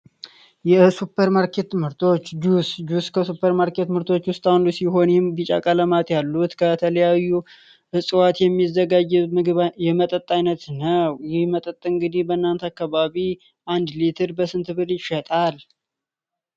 የሱፐር ማርኬት ምርቶች ሱፐር ማርኬት ምርቶች ቢጫ ቀለማት ያሉት ከተለያዩ የሚዘጋጅ ምግብ አይነት እንግዲህ በእናንተ አካባቢ አንድ ሌትር በስንት ብርር ይሸጣል?